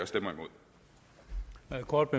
og